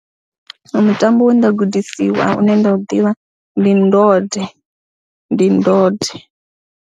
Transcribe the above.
Mutambo we nda gudisiwa une nda u ḓivha ndi ndode, ndi ndode.